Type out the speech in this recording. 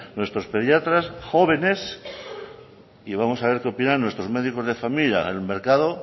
nuestros pediatras jóvenes y vamos a ver qué opinan nuestros médicos de familia el mercado